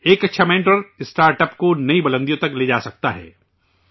ایک اچھا mentor startups کو نئی بلندیوں تک لے جاسکتا ہے